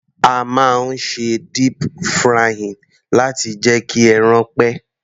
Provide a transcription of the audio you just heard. A máa ń ṣe deep frying láti jẹ́ kí ẹran pẹ́.